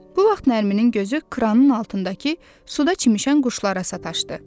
Bu vaxt Nərminin gözü kranın altındakı suda çimən quşlara sataşdı.